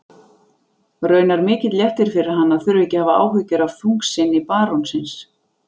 Raunar mikill léttir fyrir hann að þurfa ekki að hafa áhyggjur af þungsinni barónsins.